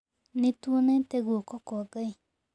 Nĩ tuonete guoko kwa Ngai.